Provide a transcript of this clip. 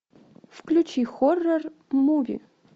включи хоррор муви